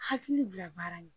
Hakili bila baara la